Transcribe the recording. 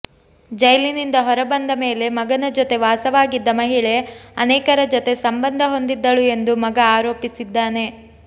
ಜೈಲಿನಿಂದ ಹೊರ ಬಂದ ಮೇಲೆ ಮಗನ ಜೊತೆ ವಾಸವಾಗಿದ್ದ ಮಹಿಳೆ ಅನೇಕರ ಜೊತೆ ಸಂಬಂಧ ಹೊಂದಿದ್ದಳು ಎಂದು ಮಗ ಆರೋಪಿಸಿದ್ದಾನೆ